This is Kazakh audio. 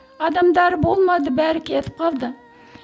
адамдары болмады бәрі кетіп қалды